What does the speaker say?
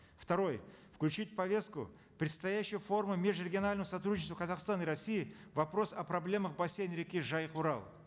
второе включить в повестку предстоящего форума межрегионального сотрудничества казахстана и россии вопрос о проблемах бассейна реки жайык урал